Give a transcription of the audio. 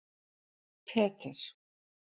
Peter